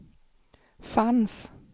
fanns